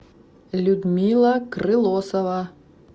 людмила крылосова